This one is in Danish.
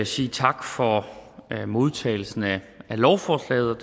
sige tak for modtagelsen af lovforslaget